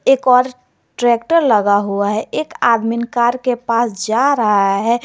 एक और ट्रैक्टर लगा हुआ है एक आदमीन कार के पास जा रहा है।